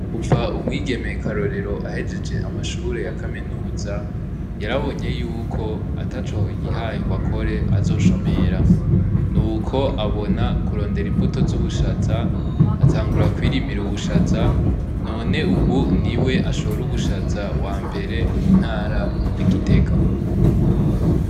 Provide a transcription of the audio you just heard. Kuva umwigeme KARORERO ahejeje amashure ya kaminuza yarabonye yuko ataco yihaye ngo akore azoshomera nuko abona kurondera imbuto z'ubushaza atangura kwirimira ubushaza none ubu niwe ashora ubushaza wambere mu ntara ya gitega.